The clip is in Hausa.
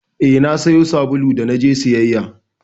Eh, na sayo sabulu da naje sayayya